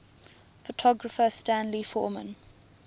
photographer stanley forman